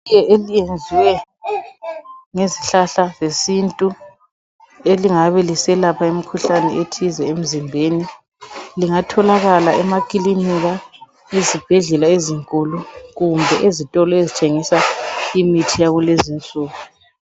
Itiye eliyenziwe ngezihlahla zesintu, elingabe ilselapha imikhuhlane ethize emzimbeni, lingatholakala emakilinika, ezibhedlela ezinkulu kumbe ezitolo ezithengisa imithi yakulezi insuku.